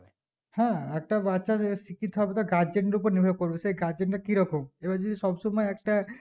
হ্যাঁ একটা বাচ্চাদেড় শিক্ষিত হবে তা guardian দেড় উপর নির্ভর করবে সেই guardian টা কি রকম এবার যদি সব সময় একটা